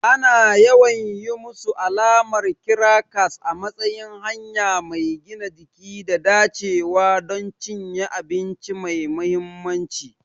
Ana yawan yi musu alamar kirakas a matsayin hanya mai gina jiki da dacewa don cinye abinci mai mahimmanci.